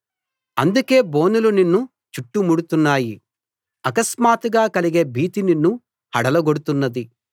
అందుకే బోనులు నిన్ను చుట్టుముడుతున్నాయి అకస్మాత్తుగా కలిగే భీతి నిన్ను హడలగొడుతున్నది